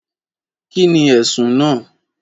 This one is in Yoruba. Kí ni ẹ̀sùn náà?